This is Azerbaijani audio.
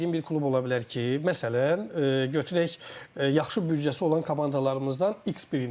O dediyim bir klub ola bilər ki, məsələn, götürək yaxşı büdcəsi olan komandalarımızdan X birini.